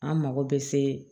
An mago bɛ se